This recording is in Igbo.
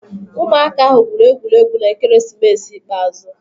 Ụmụaka ahụ gwụrụ egwuregwu na ekeresimesi ikpeazụ.